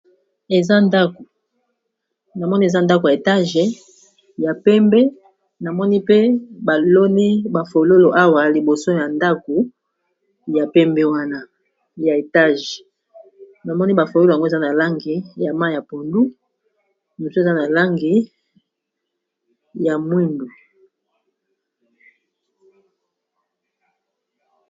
Namoni eza ndako ya etage ya pembe namoni pe baloni bafololo awa liboso ya ndako ya pembe wana ya etage namoni bafololo yango eza na langi ya mayi ya pondu mosusu eza na langi ya mwindu.